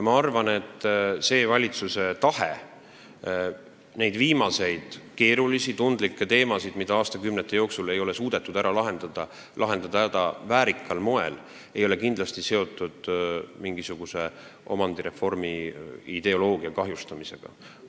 Ma arvan, et valitsuse tahe lahendada väärikal moel neid viimaseid keerulisi ja tundlikke probleeme, mida aastakümnete jooksul ei ole suudetud ära lahendada, ei ole kindlasti seotud omandireformi ideoloogia kahjustamisega.